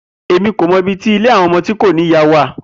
Emi ko mọ ibiti ile awọn ọmọ ti ko ni iya wa.